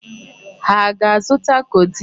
Ha aga-azụta codeine?